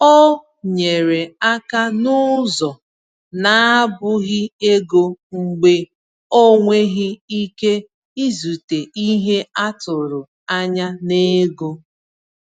Ọ nyere aka n’ụzọ na-abụghị ego mgbe o nweghị ike izute ihe a tụrụ anya n’ego.